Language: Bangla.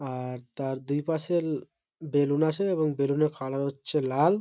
আর তার দুই পাশে ল বেলুন আছে এবং বেলুনের কালার হচ্ছে লাল।